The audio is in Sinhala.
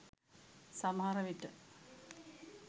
සමහර විට